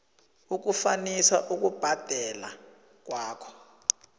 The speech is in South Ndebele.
ukufanisa ukubhadela kwakho